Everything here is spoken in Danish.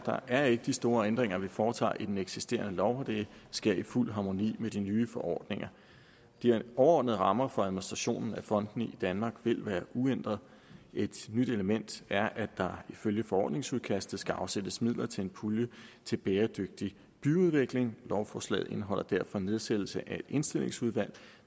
er ikke de store ændringer vi foretager i den eksisterende lov det sker i fuld harmoni med de nye forordninger de overordnede rammer for administrationen af fondene i danmark vil være uændret et nyt element er at der ifølge forordningsudkastet skal afsættes midler til en pulje til bæredygtig byudvikling lovforslaget indeholder derfor nedsættelse af et indstillingsudvalg